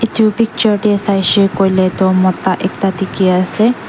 etu picture te saishe koile toh mota ekta dikhi ase.